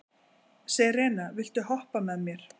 Serena, viltu hoppa með mér?